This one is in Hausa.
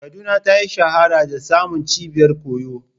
Kaduna ta shahara da samun cibiyar koyo.